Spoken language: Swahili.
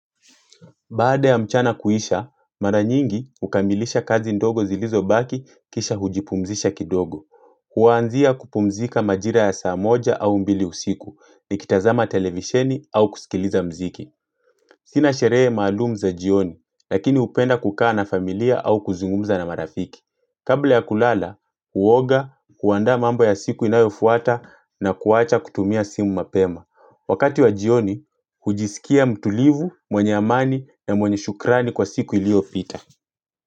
Baada ya mchana kuisha, mara nyingi ukamilisha kazi ndogo zilizobaki kisha hujipumzisha kidogo. Kwaanzia kupumzika majira ya saa moja au mbili usiku nikitazama televisheni au kusikiliza mziki. Sina sherehe maalumu za jioni, lakini upenda kukaa na familia au kuzungumza na marafiki. Kabla ya kulala, uoga, kuanda mambo ya siku inayofuata na kuwacha kutumia simu mapema. Imani na mwenye shukrani kwa siku ilio fita.